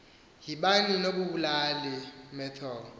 yibani nobulali mathol